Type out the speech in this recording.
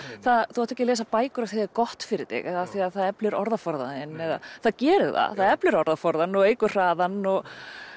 þú átt ekki að lesa bækur af því það er gott fyrir þig eða af því það eflir orðaforðann þinn það gerir það það eflir orðaforðann og eykur hraðann og